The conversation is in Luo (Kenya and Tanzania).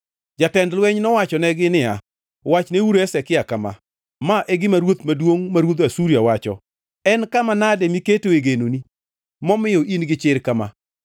Jatend lweny nowachonegi niya, “Wachneuru Hezekia kama: “ ‘Ma e gima ruoth maduongʼ, ma ruodh Asuria wacho: En kama nade miketoe genoni momiyo in-gi chir kama?